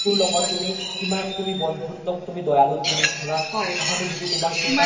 তোৰ লগত কিমান তুমি বন্ধুত্বক তুমি দয়ালো তুমি ধৰা সহানোভ্তি তুমাৰ